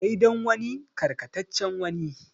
Dai dan wani karkataccen wani.